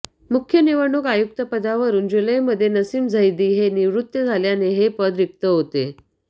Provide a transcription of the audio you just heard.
मुख्य निवडणूक आयुक्तपदावरून जुलैमध्ये नसीम झैदी हे निवृत्त झाल्याने हे पद रिक्त होते